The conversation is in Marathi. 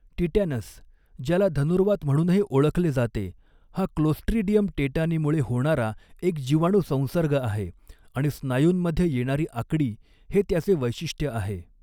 टिटॅनस, ज्याला धनुर्वात म्हणूनही ओळखले जाते, हा क्लोस्ट्रीडियम टेटानीमुळे होणारा एक जिवाणू संसर्ग आहे आणि स्नायूंमध्ये येणारी आकडी हे त्याचे वैशिष्ट्य आहे.